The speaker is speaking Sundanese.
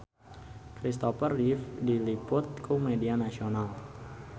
Kristopher Reeve diliput ku media nasional